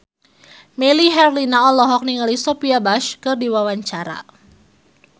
Melly Herlina olohok ningali Sophia Bush keur diwawancara